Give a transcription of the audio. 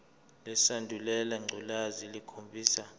lesandulela ngculazi lukhombisa